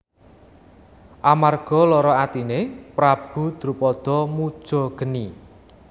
Amarga lara atine Prabu Drupada muja geni